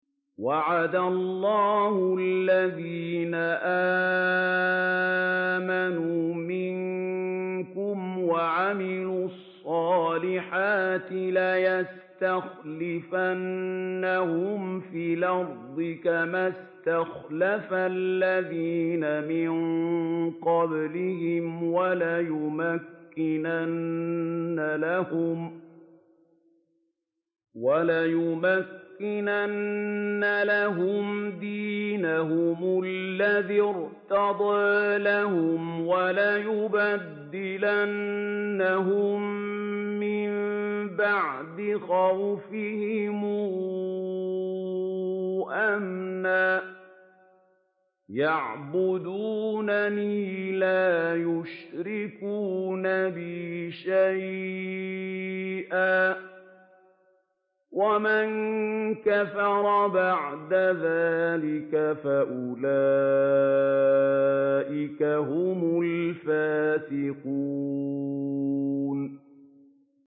وَعَدَ اللَّهُ الَّذِينَ آمَنُوا مِنكُمْ وَعَمِلُوا الصَّالِحَاتِ لَيَسْتَخْلِفَنَّهُمْ فِي الْأَرْضِ كَمَا اسْتَخْلَفَ الَّذِينَ مِن قَبْلِهِمْ وَلَيُمَكِّنَنَّ لَهُمْ دِينَهُمُ الَّذِي ارْتَضَىٰ لَهُمْ وَلَيُبَدِّلَنَّهُم مِّن بَعْدِ خَوْفِهِمْ أَمْنًا ۚ يَعْبُدُونَنِي لَا يُشْرِكُونَ بِي شَيْئًا ۚ وَمَن كَفَرَ بَعْدَ ذَٰلِكَ فَأُولَٰئِكَ هُمُ الْفَاسِقُونَ